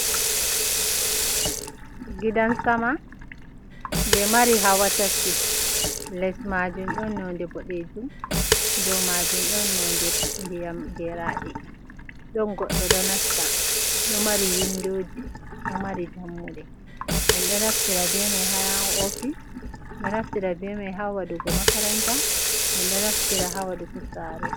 Gidan sama je mari hawa tati. Les maajum ɗon nonde boɗeejum, dou maajum ɗon nonde ndiyam geraɗe. Ɗon goɗɗo ɗo nasta, ɗo mari windoji, ɗo mari dammuɗe. En ɗo naftira be mai haa ofis, ɗo naftira be mai ha waɗugo makaranta, en ɗo naftira ha waɗugo sare.